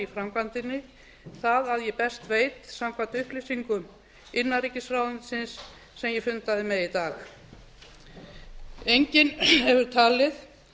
framkvæmdinni það að ég best veit samkvæmt upplýsingum innanríkisráðuneytisins sem ég fundaði með í dag enginn hefur talið